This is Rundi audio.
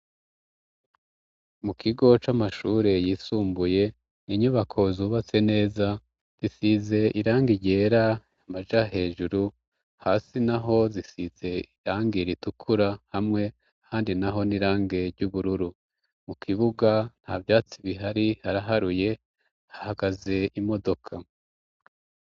Mu kigo c'amashure yisumbuye inyubako zubatse neza risize irange ryera amaja hejuru hasi na ho zisize irange e ritukura hamwe handi na ho n'irange ry'ubururu mu kibuga nta vyatsi bihari haraharuye ah gaze imodoka.